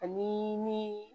Ani ni